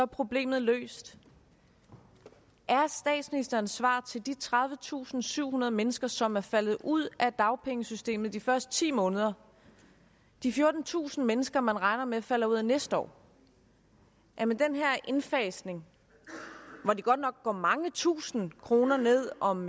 problemet løst er statsministerens svar til de tredivetusinde og syvhundrede mennesker som er faldet ud af dagpengesystemet de første ti måneder og de fjortentusind mennesker man regner med falder ud af systemet næste år at med den her indfasning hvor de godt nok går mange tusinde kroner ned om